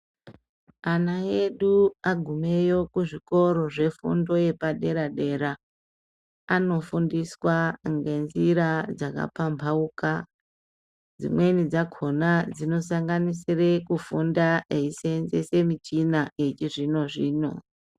Ana edu agumeyo kuzvikoro zvefundo yepadera dera, anofundiswa ngenzira dzakapambauka, dzimweni dzakona dzinosanganisire kufunda eisenzese michina yechizvino zvino.